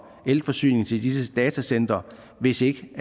elforsyningen til disse datacentre hvis ikke